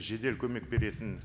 жедел көмек беретін